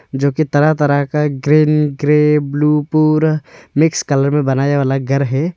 जोकि तरह तरह का ग्रीन ग्रे ब्लू पूरा मिक्स कलर में बनाया वाला घर है।